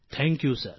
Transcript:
thank you sir